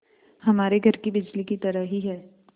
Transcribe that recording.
हमारे घर की बिजली की तरह ही है